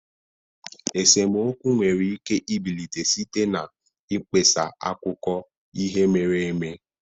Esemokwu nwere ike ibilite site na mkpesa akụkọ ihe mere eme.